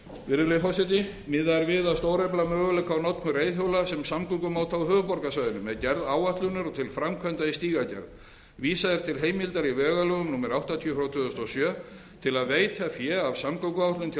virðulegi forseti miðað er við að stórefla möguleika á notkun reiðhjóla sem samgöngumáta á höfuðborgarsvæðinu með gerð áætlunar og til framkvæmda í stígagerð vísað er til heimildar í vegalögum númer áttatíu tvö þúsund og sjö til að veita fé af samgönguáætlun til almennra